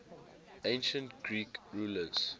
ancient greek rulers